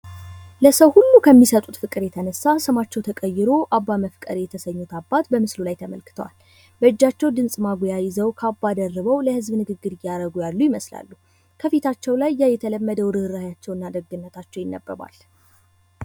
ለሰው ሁሉ ከሚሰጡት ፍቅር የተነሳ ስማቸው ተቀይሮ አባ መፍቀሬ የተሰኙት አባት በምስሉ ላይ ተመልክተዋል። በእጃቸው ድምጽ ማጉያ ይዘው ካባ ደርበው ለህዝብ ንግግር እያደረጉ ይመስላል ያሉ ይመስላሉ። ከፊታቸው ላይ ያ የተለመደው ርኅራኄያቸው እና ደግነታቸው ይነበባል።